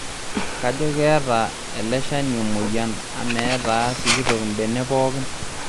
Kajo keeeta ele shani emoyian ame etaa sikitok mbenek pookin